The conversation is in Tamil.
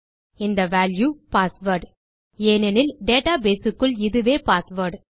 இந்த வால்யூ பாஸ்வேர்ட் ஏனெனில் டேட்டாபேஸ் க்குள் இதுவேpassword